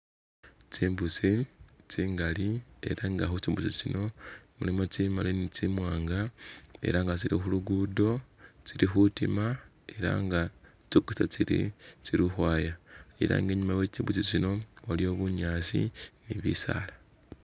Tsimbusi tsingali era nga khutsimbusi tsino mulimo tsimali nitsimwanga era nga tsili khuluguudo tsili khutima era nga tsokesa tsiri tsili ukhwaya era nga inyuma we tsimbusi tsino waliyo bunyaasi nibisaala